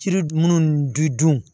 Jiri minnu di dun